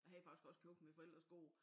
Jeg hvade faktisk også købt mine forældres gård